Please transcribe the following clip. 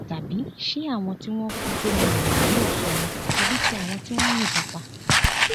tàbí ṣé àwọn tí wọn kú sómi lèèyàn yóò sọ ni tàbí tí àwọn tí wọn yìnbọn pa